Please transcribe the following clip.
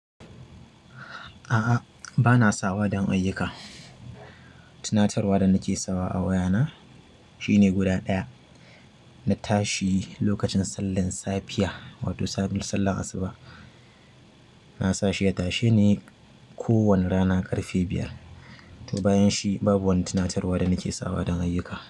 A'a, ba na sawa don ayyuka. Tunatarwa da nake sawa a wayana shine guda ɗaya. Na tashi lokacin sallan safiya wato sabin sallan asuba. Na sa shi ya tashe ni kowane rana ƙarfe biyar. To bayan shi, babu wani tunatarwa da nake sawa don ayyuka.